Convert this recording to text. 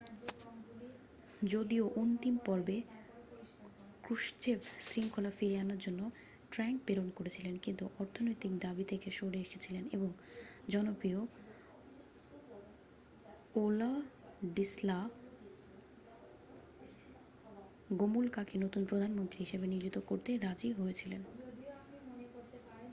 যদিও অন্তিম পর্বে ক্রুশ্চেভ শৃঙ্খলা ফিরিয়ে আনার জন্য ট্যাঙ্ক প্রেরণ করেছিলেন কিছু অর্থনৈতিক দাবী থেকে সরে এসেছিলেন এবং জনপ্রিয় ওলাডিস্লা গোমুলকাকে নতুন প্রধানমন্ত্রী হিসাবে নিয়োজিত করতে রাজি হয়েছিলেন